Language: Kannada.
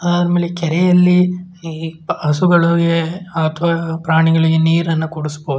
ಅಮೇಲೆ ಕೆರೆಯಲ್ಲಿ ಹಸುಗಳಿಗೆ ಪ್ರಾಣಿಗಳಿಗೆ ನೀರ್ ಅನ್ನ ಕುಡಿಸಬಹುದು.